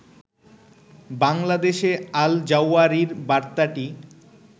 বাংলাদেশে আল-জাওয়ারির বার্তাটি